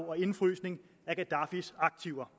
og indefrysning af gaddafis aktiver